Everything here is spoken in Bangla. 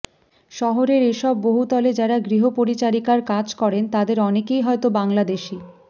শহরের এই সব বহুতলে যারা গৃহপরিচারিকার কাজ করেন তাদের অনেকেই হয়তো বাংলাদেশী